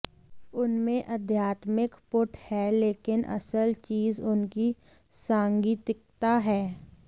उनमें आध्यात्मिक पुट है लेकिन असल चीज़ उनकी सांगीतिकता है